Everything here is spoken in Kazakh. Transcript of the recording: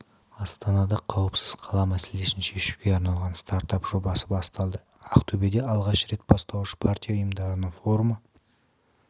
астанада қауіпсіз қала мәселесін шешуге арналған стартап жобасы басталды ақтөбеде алғаш рет бастауыш партия ұйымдарының форумы